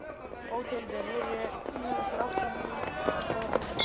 Bóthildur, heyrðu í mér eftir áttatíu og átta mínútur.